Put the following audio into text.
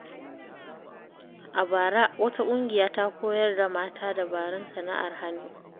A bara, wata ƙungiya ta koyar da mata dabarun sana’ar hannu.